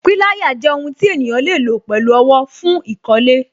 Pilaya jẹ́ ohun tí ènìyàn le lo pẹ̀lú owó, fún ìkọ́lé